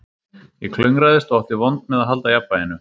Ég klöngraðist og átti vont með að halda jafnvæginu